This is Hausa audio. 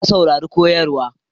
Na saurari koyarwar